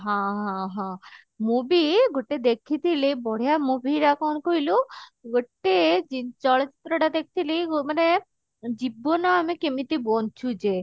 ହଁ ହଁ ହଁ ମୁଁ ବି ଗୁଟେ ଦେଖିଥିଲି ବଢିଆ movie ଟା କଣ କହିଲୁ ଗୋଟେ ଚଳଚିତ୍ର ଟା ଦେଖିଥିଲି ମାନେ ଜୀବନ ଆମେ କେମିତି ବଞ୍ଚୁଚେ